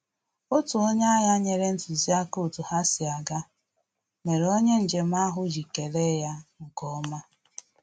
Otu onye agha nyere ntụziaka otu ha si aga, mere onye njem ahụ ji kele ya nkeọma